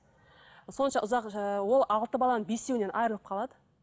сонша ұзақ ыыы ол алты баланың бесеуінен айырылып қалады